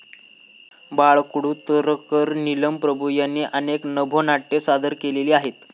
बाळ कुडतरकर, नीलम प्रभू यांनी अनेक नभोनाट्ये सादर केलेली आहेत.